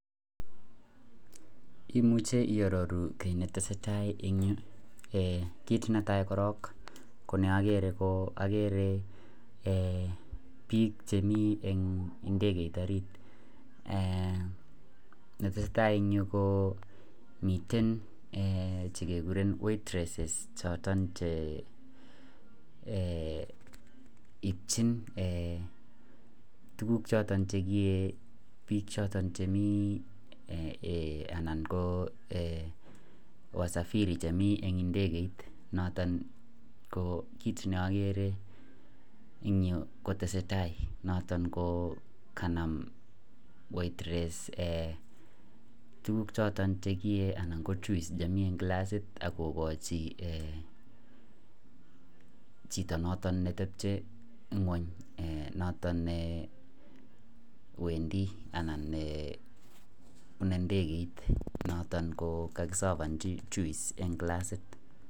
Imuche iyaroru kit netesetai en Yu kit netai korong koneagere ko bik chemi en indekeit orit netesetai en ireyu ko miten chekikuren waitress choton Che ityin choton tuguk bik choton chemi anan ko wasafiri chemi en indekeit niton ko kit neagere en Yu kotesetai noton ko kanam waitress tuguk choton chekiyee anan ko juice chemii en kilasit akokachin Chito noton netebche ngwany noton Wendi anan ne bune ndekeit noton ko kasabanchi juice en clasit